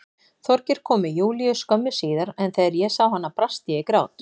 Þorgeir kom með Júlíu skömmu síðar en þegar ég sá hana brast ég í grát.